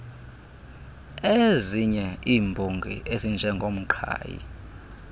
iezinye iimbongi ezinjengoomqhayi